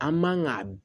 An man ga